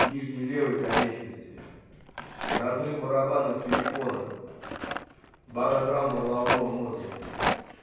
нижней левой конечности разрыв барабанных перепонок баротравма головного мозга